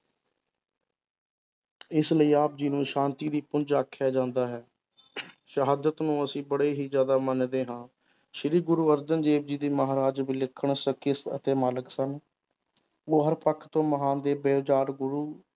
ਇਸ ਲਈ ਆਪ ਜੀ ਨੂੰ ਸ਼ਾਂਤੀ ਦੇ ਪੁੰਜ ਆਖਿਆ ਜਾਂਦਾ ਹੈ ਸ਼ਹਾਦਤ ਨੂੰ ਅਸੀਂ ਬੜੇ ਹੀ ਜ਼ਿਆਦਾ ਮੰਨਦੇ ਹਾਂ ਸ੍ਰੀ ਗੁਰੂ ਅਰਜਨ ਦੇਵ ਜੀ ਦੀ ਮਹਾਰਾਜ ਅਤੇ ਮਾਲਕ ਸਨ, ਉਹ ਹਰ ਪੱਖ ਤੋਂ ਮਹਾਨ ਗੁਰੂ